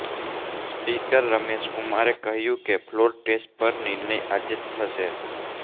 speaker Ramesh કુમારે કહ્યું કે ફ્લોર ટેસ્ટ પર નિર્ણય આજે જ થશે